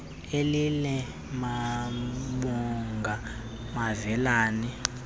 elila bamonga bevelana